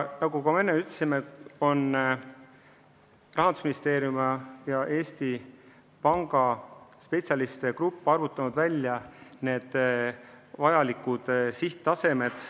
Nagu ma enne ütlesin, Rahandusministeeriumi ja Eesti Panga spetsialistide grupp on vajalike reservide mahu välja arvutanud.